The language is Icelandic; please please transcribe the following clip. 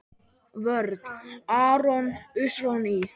Vörn: Aron Ý.